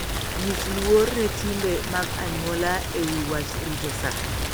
Nyis luor ne timbe mag anyuola e wi wach rito sa.